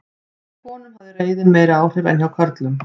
Hjá konum hafði reiðin meiri áhrif en hjá körlum.